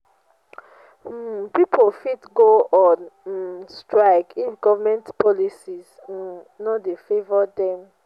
um pipo fit go on um strike if government policies um no de favour dem